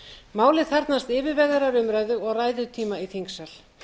málið þarfnast yfirvegaðrar umræðu og ræðutíma í þingsal